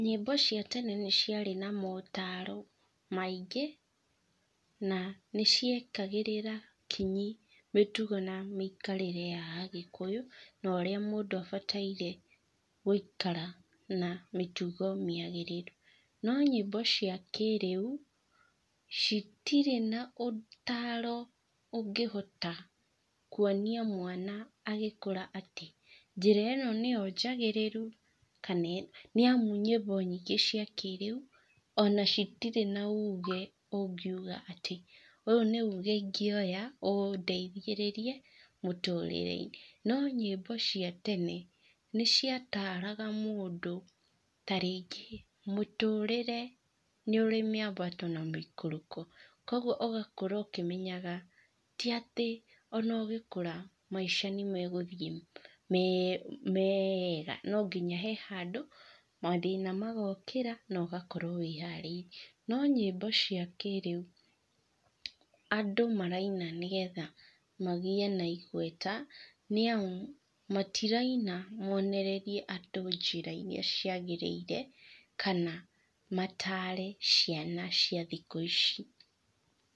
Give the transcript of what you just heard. Nyĩmbo cia tene nĩciarĩ na motaro maingĩ, na nĩciekagĩrĩra kinyi mĩtugo na mĩikarĩre ya agĩkũyũ, na ũrĩa mũndũ abataire gũikara na mĩtugo mĩagĩrĩru. No nyimbo cia kĩrĩũ, citirĩ na ũtaro ũngĩhota kuonia mwana agĩkũra atĩ njĩra ĩno nĩyo njagĩrĩrũ, kana nĩamu nyimbo nyingĩ cia kĩrĩũ, ona citirĩ na uge ũngĩũga atĩ ũyũ nĩuge ingĩoya, ũndeithĩrĩrie, mũtũrĩreinĩ. No nyimbo cia tene, nĩciataraga mũndũ, ta rĩngĩ mũtũrĩre nĩũrĩ mĩambato na mĩikũrũko. Koguo ũgakũra ũkĩmenyaga ti atĩ ona ũgĩkũra maica nĩmegũthiĩ me mega no nginya he handũ, mathĩna magokĩra, na ũgakorwo wĩharĩirie, no nyĩmbo cia kĩrĩũ, andũ maraina nĩgetha magĩe na igweta, nĩamu, matiraina monererie andũ njĩra iria ciagĩrĩire, kana matare ciana cia thikũ ici.